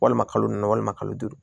Walima kalo naani walima kalo duuru